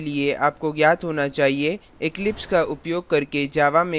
eclipse का उपयोग करके java में constructor कैसे बनाएँ